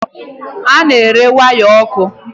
Ị na-ere waya ọkụ?